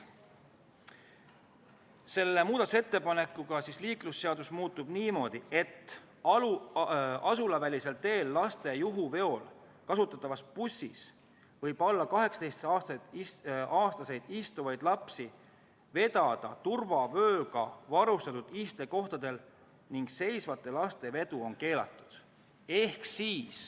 Selle muudatusettepanekuga muudetakse liiklusseadust järgmises sõnastuses: „Asulavälisel teel laste juhuveol kasutatavas bussis võib alla 18-aastaseid istuvaid lapsi vedada turvavööga varustatud istekohtadel ning seisvate laste vedu on keelatud.